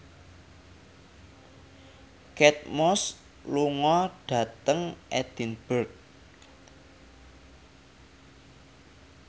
Kate Moss lunga dhateng Edinburgh